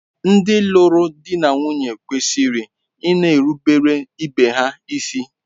Ndị lụrụ di na nwunye kwesịrị ịna-erubere ibe ha isi.